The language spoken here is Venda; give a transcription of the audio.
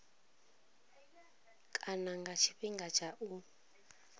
kana nga tshifhinga tsha u